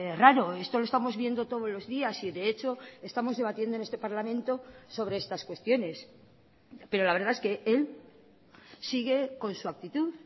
raro esto lo estamos viendo todos los días y de hecho estamos debatiendo en este parlamento sobre estas cuestiones pero la verdad es que él sigue con su actitud